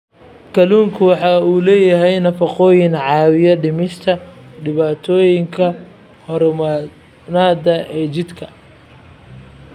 Kalluunku waxa uu leeyahay nafaqooyin caawiya dhimista dhibaatooyinka hormoonnada ee jidhka.